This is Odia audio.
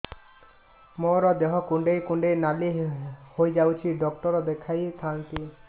ମୋର ଦେହ କୁଣ୍ଡେଇ କୁଣ୍ଡେଇ ନାଲି ହୋଇଯାଉଛି ଡକ୍ଟର ଦେଖାଇ ଥାଆନ୍ତି